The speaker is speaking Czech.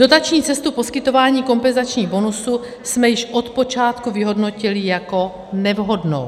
Dotační cestu poskytování kompenzačních bonusů jsme již od počátku vyhodnotili jako nevhodnou.